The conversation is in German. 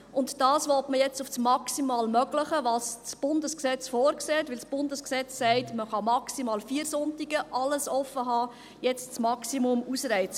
Und dies will man nun auf das maximal mögliche gemäss Bundesgesetz – denn das Bundesgesetz besagt, man kann an maximal vier Sonntagen offen haben – erhöhen und das Maximum ausreizen.